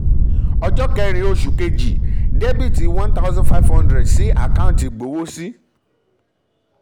ọjọ́ kẹ́rin oṣù kejì dr one thousand five hundred sí àkáǹtì ìgbowósí sí àkáǹtì ìgbowósí